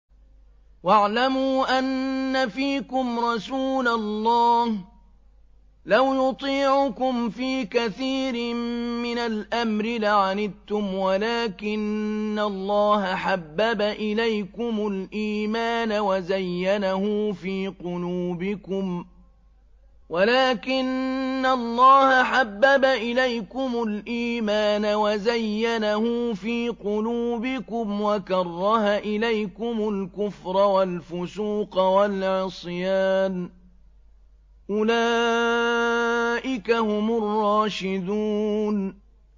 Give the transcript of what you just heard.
وَاعْلَمُوا أَنَّ فِيكُمْ رَسُولَ اللَّهِ ۚ لَوْ يُطِيعُكُمْ فِي كَثِيرٍ مِّنَ الْأَمْرِ لَعَنِتُّمْ وَلَٰكِنَّ اللَّهَ حَبَّبَ إِلَيْكُمُ الْإِيمَانَ وَزَيَّنَهُ فِي قُلُوبِكُمْ وَكَرَّهَ إِلَيْكُمُ الْكُفْرَ وَالْفُسُوقَ وَالْعِصْيَانَ ۚ أُولَٰئِكَ هُمُ الرَّاشِدُونَ